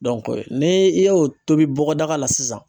ne e ye o tobi bɔgɔdaga la sisan